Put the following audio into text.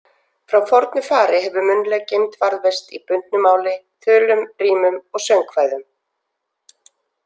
Frá fornu fari hefur munnleg geymd varðveist í bundnu máli, þulum, rímum og söngkvæðum.